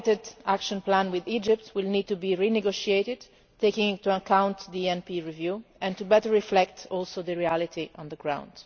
The outdated Action Plan with Egypt will need to be re negotiated, taking into account the ENP review and to better reflect the reality on the ground.